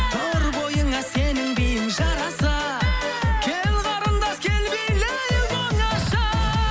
тұр бойыңа сенің биің жараса кел қарындас кел билейік оңаша